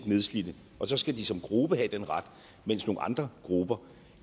nedslidte og så skal de som gruppe have den ret mens nogle andre grupper